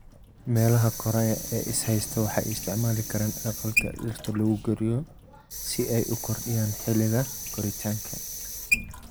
Meelaha koraya ee is haysta waxay isticmaali karaan aqalka dhirta lagu koriyo si ay u kordhiyaan xilliga koritaanka.